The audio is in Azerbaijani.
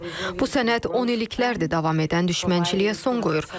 Bu sənəd onilliklərdir davam edən düşmənçiliyə son qoyur.